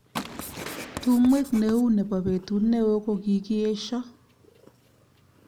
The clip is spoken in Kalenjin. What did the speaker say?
Tumwek neu nebo betut neo kokikiesho